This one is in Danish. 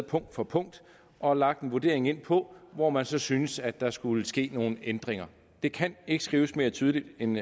punkt for punkt og lagt en vurdering ind på hvor man så synes at der skulle ske nogle ændringer det kan ikke skrives mere tydeligt end